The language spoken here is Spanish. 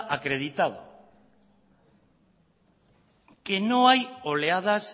acreditado que no hay oleadas